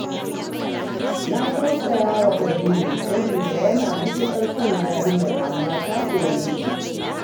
Na tausaya wa Kabiru, saboda yana matuƙar son yarinyar amma ta kore shi